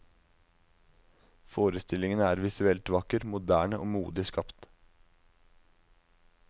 Forestillingen er visuelt vakker, moderne og modig skapt.